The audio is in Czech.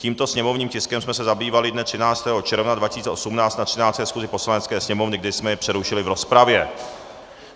Tímto sněmovním tiskem jsme se zabývali dne 13. června 2018 na 13. schůzi Poslanecké sněmovny, kdy jsme jej přerušili v rozpravě.